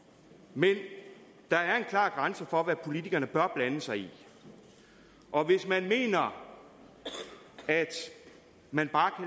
men der er en klar grænse for hvad politikerne bør blande sig i og hvis man mener at man bare